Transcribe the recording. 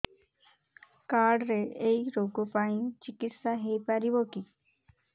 card ରେ ଏଇ ରୋଗ ପାଇଁ ଚିକିତ୍ସା ହେଇପାରିବ କି